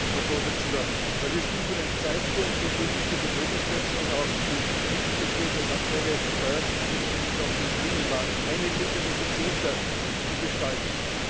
Herr Präsident! Wir stehen vor einem Zeitpunkt, zu dem nicht nur die Möglichkeit, sondern auch die Pflicht besteht, das aktuelle Steuersystem und damit auch den Binnenmarkt einheitlich und effizienter zu gestalten.